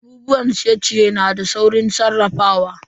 Abubuwan ciye-ciye na da saurin sarrafawa.